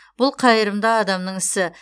бұл қайырымды адамның ісі